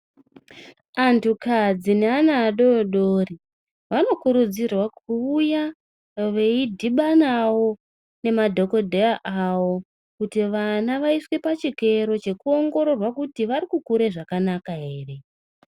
Antukadzi neana adoodori vanokurudzirwa kuuya veidhibanawo nemadhokodheya avo kuti ana aiswe pachikero nekuongororwawo kuti arikukura zvakanaka here.